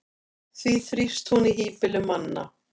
því þrífst hún í hýbýlum manna